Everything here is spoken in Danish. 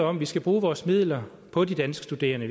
om at vi skal bruge vores midler på de danske studerende